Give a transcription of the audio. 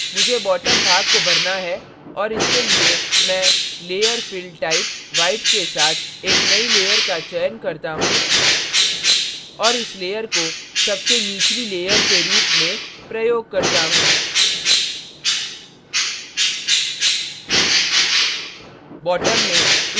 मुझे bottom भाग को भरना है और उसके लिए मैं layer fill type white के साथ एक नई layer का चयन करता choose और इस layer को सबसे निचली layer के रूप में प्रयोग करता choose